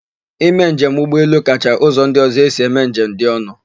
Ime njem ụgbọelu kacha ụzọ ndị ọ̀zọ́ esi eme njem dị ọnụ.